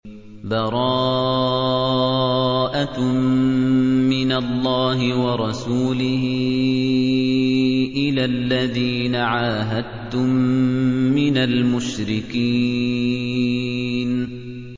بَرَاءَةٌ مِّنَ اللَّهِ وَرَسُولِهِ إِلَى الَّذِينَ عَاهَدتُّم مِّنَ الْمُشْرِكِينَ